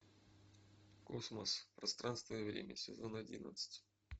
космос пространство и время сезон одиннадцать